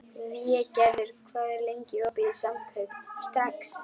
Végerður, hvað er lengi opið í Samkaup Strax?